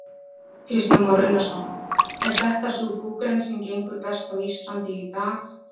Kristján Már Unnarsson: Er þetta sú búgrein sem gengur best á Íslandi í dag?